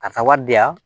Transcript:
Karisa wari di yan